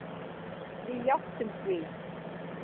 Við játtum því.